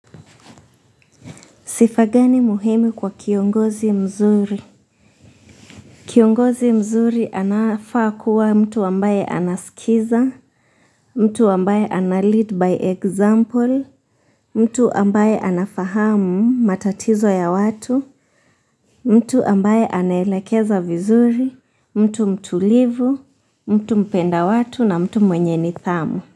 Sifa gani muhimi kwa kiongozi mzuri? Kiongozi mzuri anafaa kuwa mtu ambaye anaskiza, mtu ambaye ana lead by example, mtu ambaye anafahamu matatizo ya watu, mtu ambaye anelekeza vizuri, mtu mtulivu, mtu mpenda watu na mtu mwenye nidhamu.